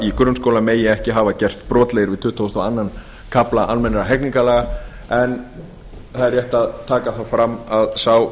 í grunnskóla megi ekki hafa gerst brotlegir við tuttugustu og öðrum kafla almennra hegningarlaga en það er rétt að taka það fram að sá